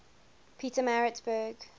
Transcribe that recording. pietermaritzburg